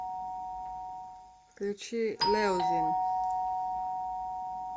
включи леузин